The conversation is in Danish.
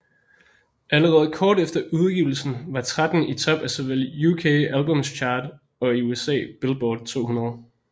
Allerede kort efter udgivelsen var 13 i top af såvel UK Albums Chart og i USA Billboard 200